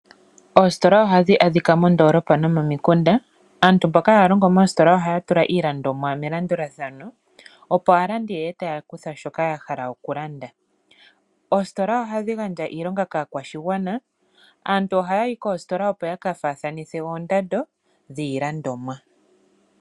Oositola ohadhi adhika moondoolopa nomomikunda. Aantu mboka haya longo moositola ohaya tula iilandomwa melandulathano opo aalandi ye ye taya kutha shoka ya hala okulanda. Oositola ohadhi gandja iilonga kaakwashigwana. Aantu ohaya yi koositola opo ya kafaathanithe oondando dhiilandomwa.